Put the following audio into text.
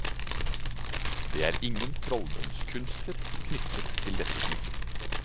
Det er ingen trolldomskunster knyttet til dette smykket.